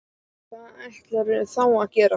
Og hvað ætlarðu þá að gera?